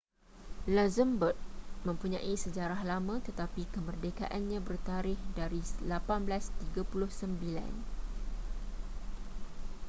luxembourg mempunyai sejarah lama tetapi kemerdekaannya bertarikh dari 1839